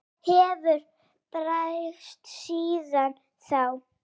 Hvað hefur breyst síðan þá?